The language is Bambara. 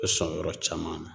Be sɔn yɔrɔ caman na